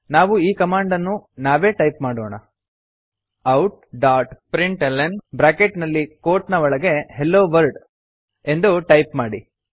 ನಾವು ಕಮಾಂಡ್ ಅನ್ನು ನಾವೇ ಟೈಪ್ ಮಾಡೋಣ outಪ್ರಿಂಟ್ಲ್ನ ಬ್ರಾಕೆಟ್ ನಲ್ಲಿ ಕೋಟ್ ನ ಒಳಗೆ ಹೆಲೊವರ್ಲ್ಡ್ ಎಂದು ಟೈಪ್ ಮಾಡಿ